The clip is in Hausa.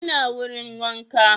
Ina wurin wanka